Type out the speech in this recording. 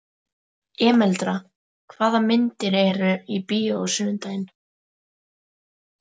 Emeralda, hvaða myndir eru í bíó á sunnudaginn?